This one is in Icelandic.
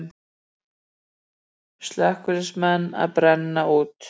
Slökkviliðsmenn að brenna út